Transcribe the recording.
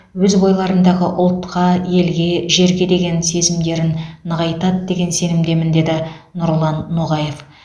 өз бойларындағы ұлтқа елге жерге деген сезімдерін нығайтады деген сенімдемін деді нұрлан ноғаев